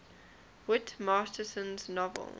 whit masterson's novel